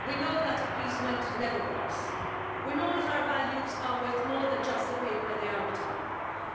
We know that appeasement never works, we know that our values are worth more than just the paper they are written on,